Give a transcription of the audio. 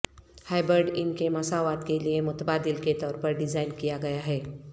hybrid ان کے مساوات کے لئے متبادل کے طور پر ڈیزائن کیا گیا ہے